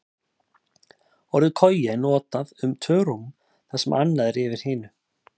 Orðið koja er notað um tvö rúm þar sem annað er yfir hinu.